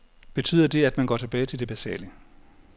Betyder det, at man går tilbage til det basale?